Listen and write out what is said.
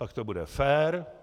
Pak to bude fér.